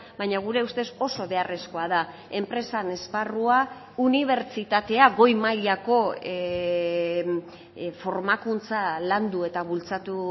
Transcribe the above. baina gure ustez oso beharrezkoa da enpresan esparrua unibertsitatea goi mailako formakuntza landu eta bultzatu